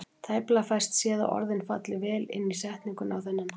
Tæplega fæst séð að orðin falli vel inn í setninguna á þennan hátt.